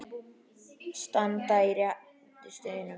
Standa á rétti sínum?